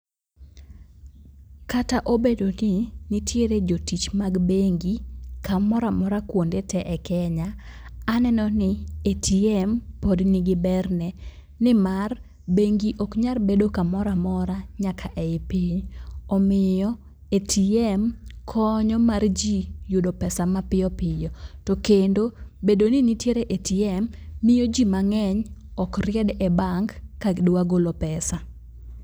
Kata obedo ni nitiere jotich mag bengi kamoro amora kuonde tee e Kenya, aneno ni ATM pod nigi berne nimar bengi ok nyal bedo kamoro amora nyaka ei piny. Omiyo ATM konyo mar ji yudo pesa mapiyo piyo. To kendo bedo ni nitiere ATM miyo ji mang'eny ok ried e bank ka gidwa golo pesa.